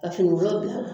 Ka finikolon bil'a la